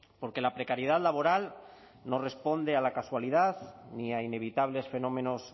porque la precariedad laboral no responde a la casualidad ni a inevitables fenómenos